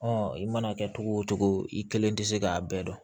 i mana kɛ cogo o cogo i kelen tɛ se k'a bɛɛ dɔn